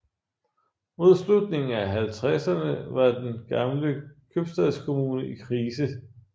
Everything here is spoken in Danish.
Mod slutningen af 1950erne var den gamle købstadskommune i krise